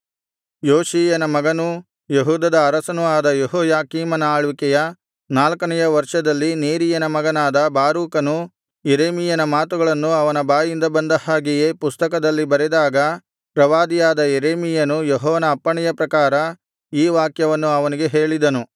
ಯೋಷೀಯನ ಮಗನೂ ಯೆಹೂದದ ಅರಸನೂ ಆದ ಯೆಹೋಯಾಕೀಮನ ಆಳ್ವಿಕೆಯ ನಾಲ್ಕನೆಯ ವರ್ಷದಲ್ಲಿ ನೇರೀಯನ ಮಗನಾದ ಬಾರೂಕನು ಯೆರೆಮೀಯನ ಮಾತುಗಳನ್ನು ಅವನ ಬಾಯಿಂದ ಬಂದ ಹಾಗೆಯೇ ಪುಸ್ತಕದಲ್ಲಿ ಬರೆದಾಗ ಪ್ರವಾದಿಯಾದ ಯೆರೆಮೀಯನು ಯೆಹೋವನ ಅಪ್ಪಣೆಯ ಪ್ರಕಾರ ಈ ವಾಕ್ಯವನ್ನು ಅವನಿಗೆ ಹೇಳಿದನು